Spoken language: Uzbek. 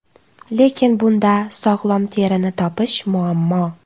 Lekin bunda sog‘lom terini topish muammo.